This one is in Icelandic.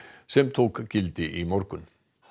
sem tók gildi í morgun